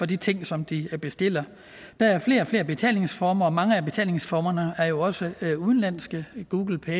de ting som de bestiller der er flere og flere betalingsformer og mange af betalingsformerne er jo også udenlandske google pay